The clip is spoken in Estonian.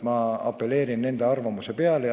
Ma apelleerin nende arvamusele.